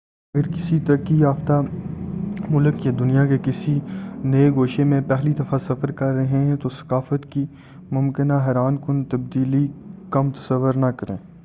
اگر کسی ترقی یافیہ ملک یا دنیا کے کسی نئے گوشے میں پہلی دفعہ سفر کر رہے ہیں تو ثقافت کی ممکنہ حیران کن تبدیلی کم نہ تصور کریں